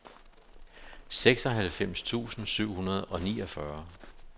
seksoghalvfems tusind syv hundrede og niogfyrre